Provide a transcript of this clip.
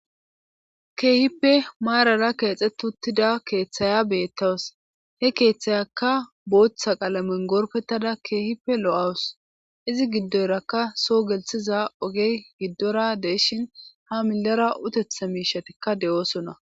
Keehippe maarara keexxet uttida keeththaya beettaws he keeththayakka booththa qaalamen gorpettada keehippe lo7awus izi giddoyrakka so gelthiza ogey giddora deeshin ha millera utetha miishatikka de7oosona.